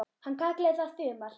Hann kallaði það Þumal